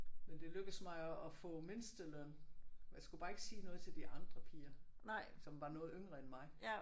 Men det lykkedes mig at at få mindsteløn. Jeg skulle bare ikke sige noget til de andre piger som var noget yngre end mig